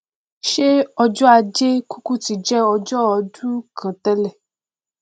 ṣé ọjọ ajé kúkú ti jẹ ọjọ odún kan tẹlẹ